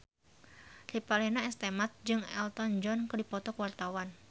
Revalina S. Temat jeung Elton John keur dipoto ku wartawan